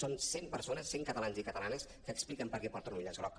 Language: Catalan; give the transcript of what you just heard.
són cent persones cent catalans i cata·lanes que expliquen per què porten un llaç groc